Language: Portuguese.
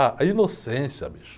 Ah, a inocência, bicho.